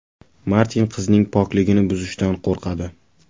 Martin qizning pokligini buzishdan qo‘rqadi.